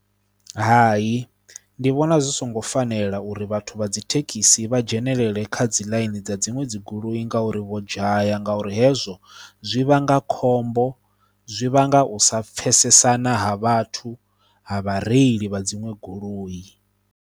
Hai ndi vhona zwi songo fanela uri vhathu vha dzi thekhisi vha dzhenelele kha dzi ḽaini dza dziṅwe dzi goloi ngauri vho dzhaya ngauri hezwo zwi vhanga khombo, zwi vhanga u sa pfhesesana ha vhathu, ha vha reili vha dziṅwe goloi.